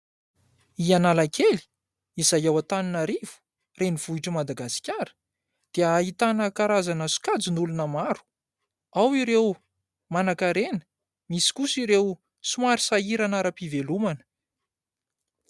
I Analakely izay ao Antananarivo renivohitr'i Madagasikara dia ahitana karazana sokajin'olona maro ao ireo manankarena, misy kosa ireo somary sahirana ara-pivelomana.